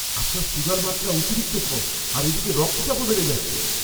আপনার সুগার মাত্রা অতিরিক্ত কম আর এদিকে রক্তচাপও বেড়ে যাচ্ছে।